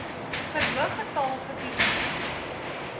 verhoog getal getoetste